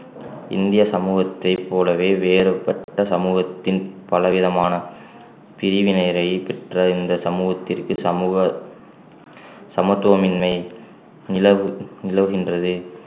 இந்திய சமூகத்தைப் போலவே வேறுபட்ட சமூகத்தின் பல விதமான பிரிவினையை பெற்ற இந்த சமூகத்திற்கு சமூக சமத்துவமின்மை நிலவு~ நிலவுகின்றது